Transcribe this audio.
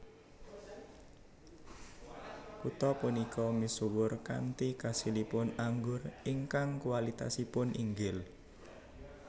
Kutha punika misuwur kanthi kasilipun anggur ingkang kualitasipun inggil